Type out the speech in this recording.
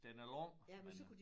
Den er lang men øh